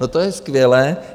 No to je skvělé.